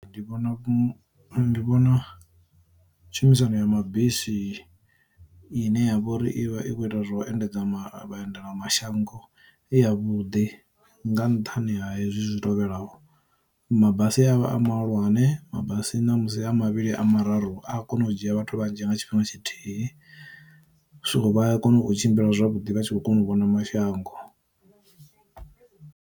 Ndi vhona ndi vhona tshumisano ya mabisi i ne ya vha uri ivha i kho ita zwo u endedza vha endela mashango i ya vhuḓi nga nṱhani ha hezwi zwi tevhelaho, mabasi a vha a mahulwane, mabasi ṋamusi a mavhili kana a mararu a kona u dzhia vhathu vhanzhi nga tshifhinga tshithihi, so vha a kona u tshimbila zwavhuḓi vha tshi kho kona u vhona mashango.